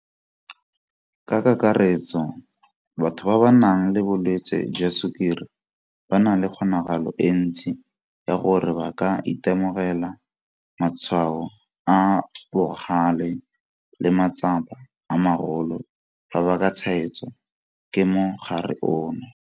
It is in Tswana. Ka kakaretso, batho ba ba nang le bolwetse jwa sukiri ba na le kgonagalo e ntsi ya gore ba ka itemogela matshwao a a bogale le matsapa a magolo fa ba ka tshwaetswa ke mogare ono.